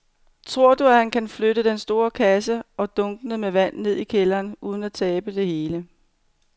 Tror du, at han kan flytte den store kasse og dunkene med vand ned i kælderen uden at tabe det hele?